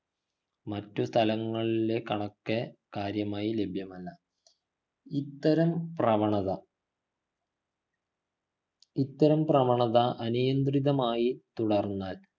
മറ്റു തലങ്ങളിലെ കണക്ക് കാര്യമായി ലഭ്യമല്ല ഇത്തരം പ്രവണത ഇത്തരം പ്രവണത അനിയന്ത്രിതമായി തുടർന്നാൽ